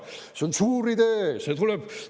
See on suur idee!